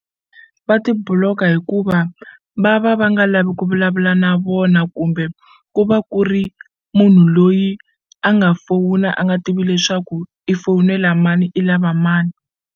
Va ti block-a hikuva va va va nga lavi ku vulavula na vona kumbe ku va ku ri munhu loyi a nga fowuna a nga tivi leswaku i fowunela mani i lava mani.